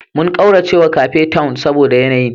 Mun ƙaura zuwa Cape Town saboda yanayin